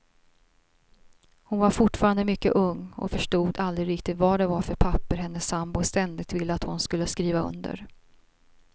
Hon var fortfarande mycket ung och förstod aldrig riktigt vad det var för papper hennes sambo ständigt ville att hon skulle skriva under.